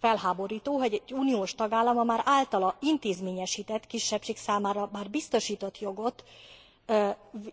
Felháborító, hogy egy uniós tagállam az általa már intézményesített kisebbség számára biztosított jogot